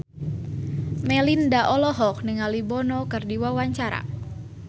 Melinda olohok ningali Bono keur diwawancara